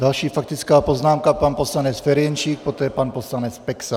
Další faktická poznámka pan poslanec Ferjenčík, poté pan poslanec Peksa.